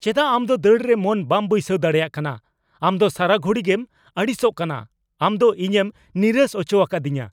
ᱪᱮᱫᱟᱜ ᱟᱢ ᱫᱚ ᱫᱟᱹᱲ ᱨᱮ ᱢᱚᱱ ᱵᱟᱢ ᱵᱟᱹᱭᱥᱟᱹᱣ ᱫᱟᱲᱮᱭᱟᱜ ᱠᱟᱱᱟ ? ᱟᱢ ᱫᱚ ᱥᱟᱨᱟ ᱜᱷᱩᱲᱤᱜᱮᱢ ᱟᱹᱲᱤᱥᱚᱜ ᱠᱟᱱᱟ ᱾ ᱟᱢ ᱫᱚ ᱤᱧᱮᱢ ᱱᱤᱨᱟᱹᱥ ᱚᱪᱚᱣᱟᱠᱟᱫᱤᱧᱟ ᱾